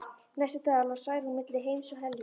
Næstu daga lá Særún milli heims og helju.